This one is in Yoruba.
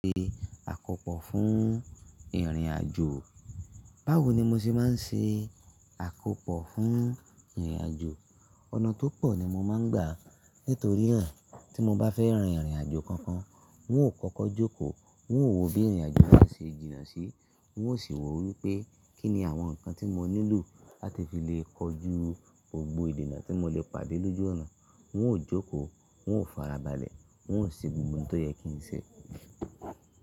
Ṣe àkópò fún ìrìnàjò. Báwo ni mo ṣe máa ń ṣe àkópò fún ìrìnàjò? Ọ̀nà tó pọ̀ ni mo máa ń gbà. Nítorí naa tí mo bá fẹ́ rin ìrìnàjò kankan, n ó kókó jókòó, n ó wo bí ìrìnàjò náà ṣe jìnnà sí, n ó sì wò wípé kín ni àwọn ǹkan tí mo nílò láti fi lè kojú gbogbo ìdènà tí mo lè pàdé lójú ọ̀nà. N ó jókòó, n ó farabalẹ̀, n ó ṣe gbogbo ohun tó yẹ kí n ṣe.